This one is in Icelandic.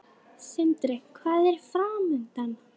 Sindri: Hvað er framundan?